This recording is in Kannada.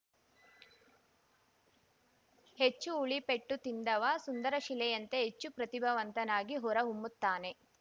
ಹೆಚ್ಚು ಉಳಿ ಪೆಟ್ಟು ತಿಂದವ ಸುಂದರಶಿಲೆಯಂತೆ ಹೆಚ್ಚು ಪ್ರತಿಭಾವಂತನಾಗಿ ಹೊರ ಹೊಮ್ಮುತ್ತಾನೆ